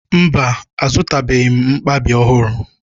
Mba, azụtabeghị m mkpabi ọhụrụ